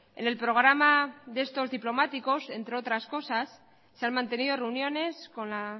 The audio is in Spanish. en el programa de estos diplomáticos entre otras cosas se han mantenido reuniones con la